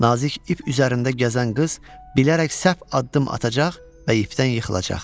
Nazik ip üzərində gəzən qız bilərək səhv addım atacaq və ifdən yıxılacaq.